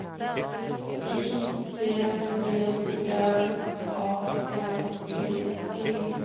Y T T R A N D E